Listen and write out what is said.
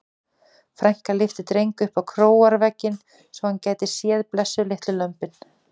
Frænka lyfti Dreng upp á króarvegginn svo hann gæti séð blessuð litlu lömbin.